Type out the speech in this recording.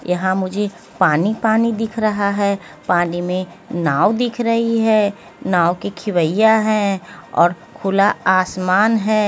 यहाँ मुझे पानी पानी दिख रहा है पानी में नाव दिख रही है नाव की खिवैया हैं और खुला आसमान है।